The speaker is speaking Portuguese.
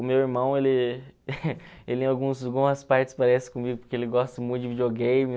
O meu irmão, ele algumas partes parece comigo porque ele gosta muito de videogame.